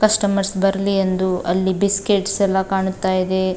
Customers ಬರಲಿ ಎಂದು ಅಲ್ಲಿ ಬಿಸ್ಕೆಟ್ಸ್ ಎಲ್ಲ ಕಾಣುತ್ತ ಇದೆ.